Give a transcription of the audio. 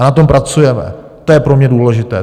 A na tom pracujeme, to je pro mě důležité.